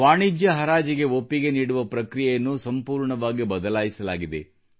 ವಾಣಿಜ್ಯ ಹರಾಜಿಗೆ ಒಪ್ಪಿಗೆ ನೀಡುವ ಪ್ರಕ್ರಿಯೆಯನ್ನು ಸಂಪೂರ್ಣವಾಗಿ ಬದಲಾಯಿಸಲಾಗಿದೆ